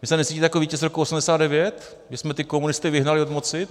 Vy se necítíte jako vítěz roku 1989, kdy jsme ty komunisty vyhnali od moci?